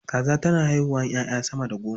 Kaza tana haihuwa 'ya'ya sama da goma.